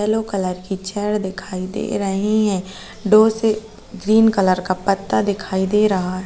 Yellow colour की चड दिखाई दे रहीं हैं। डोसे ग्रीन कलर का पत्ता दिखाई दे रहा ह् ।